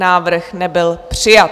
Návrh nebyl přijat.